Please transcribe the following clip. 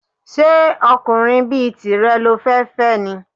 Ṣé ọkùnrin bí tìrẹ lo fẹ́ fẹ́ ni?